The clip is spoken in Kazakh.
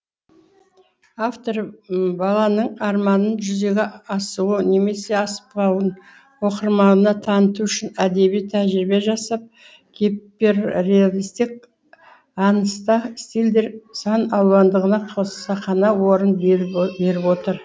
автор баланың арманын жүзеге асуы немесе аспауын оқырманына таныту үшін әдеби тәжірибе жасап гиперреалистік аңыста стильдер сан алуандығына қасақана орын беріп отыр